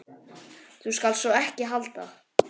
Þú skalt sko ekki halda.